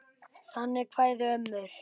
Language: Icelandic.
Þannig kváðu ömmur.